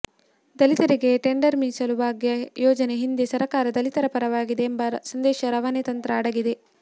ದಲಿತರಿಗೆ ಟೆಂಡರ್ ಮೀಸಲು ಭಾಗ್ಯ ಯೋಜನೆ ಹಿಂದೆ ಸರಕಾರ ದಲಿತರ ಪರವಾಗಿದೆ ಎಂಬ ಸಂದೇಶ ರವಾನೆ ತಂತ್ರ ಅಡಗಿದೆ